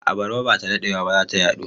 Abarba ba da daɗewa ba za ta yaɗu.